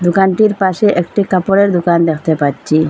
দোকানটির পাশে একটি কাপড়ের দোকান দ্যাখতে পাচ্ছি।